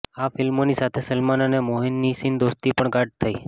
આ ફિલ્મોની સાથે સલમાન અને મોહનીશની દોસ્તી પણ ગાઢ થઈ